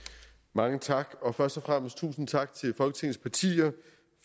mange tak og først og fremmest tusind tak til folketingets partier